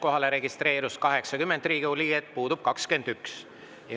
Kohalolijaks registreerus 80 Riigikogu liiget, puudub 21.